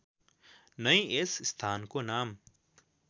नै यस स्थानको नाम